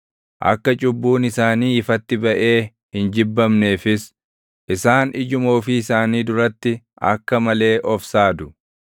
Akka cubbuun isaanii ifatti baʼee hin jibbamneefis, isaan ijuma ofii isaanii duratti akka malee of saadu.